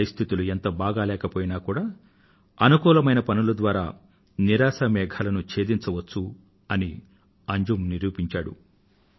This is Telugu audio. పరిస్థితులు ఎంత బాగాలేకపోయినా కూడా అనుకూలమైన పనుల ద్వారా నిరాశా మేఘాలను ఛేదించవచ్చు అని అంజుమ్ నిరూపించాడు